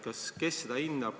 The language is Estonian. Kes seda hindab?